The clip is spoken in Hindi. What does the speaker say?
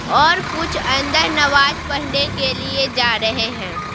और कुछ अंदर नमाज पढ़ने के लिए जा रहे हैं।